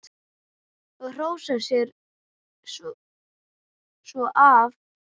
Og hrósa sér svo af.